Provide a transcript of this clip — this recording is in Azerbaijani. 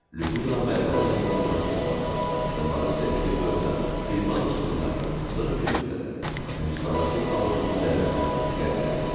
Lyudmila mənalı-mənalı Marusiyaya baxdı və Marusiya Nikeferovada bir balaca qızardı, sonra gülümsədi və Hüsaməddin Alovlunun dəvətini qəbul elədi.